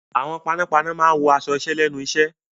Àwọn panápaná máa wọ aṣọ iṣẹ́ lẹ́nu iṣẹ́.